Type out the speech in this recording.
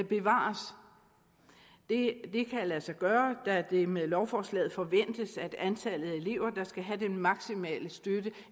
bevares det kan lade sig gøre da det med lovforslaget forventes at antallet af elever der skal have den maksimale støtte